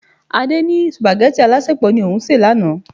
Adé ní supageti alasepo ni òun se lánàá.